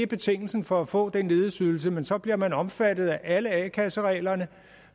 betingelsen for at få den ledighedsydelse men så bliver man omfattet af alle a kasse reglerne